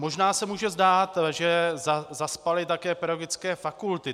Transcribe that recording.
Možná se může zdát, že zaspaly také pedagogické fakulty.